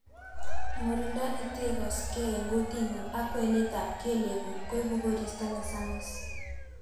murindo netegoksei en gutitngung ak kwenet ab keleekguk koibu koristo nesamis